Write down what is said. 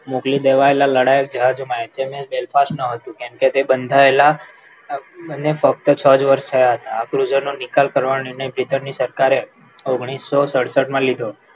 મોકલી દેવાયેલા લડાયક જહાજો એચએમએસ and fast ન હતું કેમ કે તે બંધાયેલા અને ફક્ત છ જ વર્ષ થયા હતા નિકાલ કરવા સરકારે ઓગણીસો સડસઠ માં લીધો